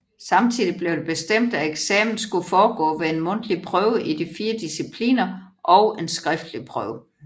Samtidig blev det bestemt at eksamen skulle foregå ved en mundtlig prøve i de fire discipliner og en skriftlig prøve